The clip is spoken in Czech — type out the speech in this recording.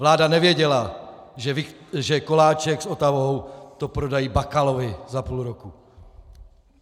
Vláda nevěděla, že Koláček s Otavou to prodají Bakalovi za půl roku.